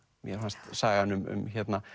mér fannst sagan um